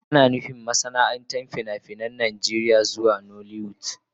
Ana nufin masana'antar fina-finan Najeriya zuwa nollywood.